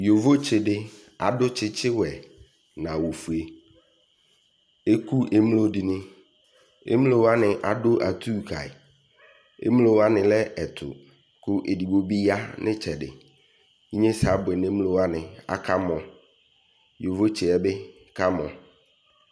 Yovotse de akɔ tsetsewɛ no awufue Eku emlo de neEmlo wane ado atu kae Emlo wane lɛ ɛto ko edigbo be ya no etsɛdeEnyesɛ abuɛ no emlo wane, akamɔYovotseɛɔ be kamɔ